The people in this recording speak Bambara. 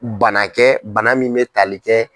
Banakɛ bana min bɛ tali kɛ.